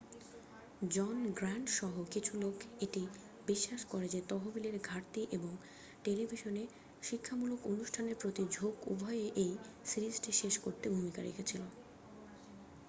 জন Grant সহ কিছু লোক এটি বিশ্বাস করে যে তহবিলের ঘাটতি এবং টেলিভিশনে শিক্ষামূলক অনুষ্ঠানের প্রতি ঝোঁক উভয়ই এই সিরিজটি শেষ করতে ভূমিকা রেখেছিল